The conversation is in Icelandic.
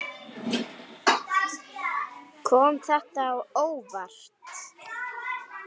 Kom þetta þér á óvart?